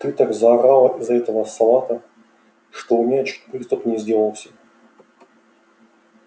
ты так заорала из-за этого салата что у меня чуть приступ не сделался